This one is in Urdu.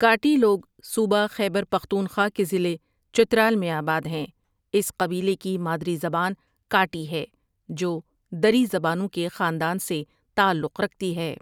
کاٹی لوگ صوبہ خیبر پختونخوا کے ضلع چترال میں آباد ہیں اس قبیلے کی مادری زبان کاٹی ہے جو دری زبانوں کے خاندان سے تعلق رکھتی ہے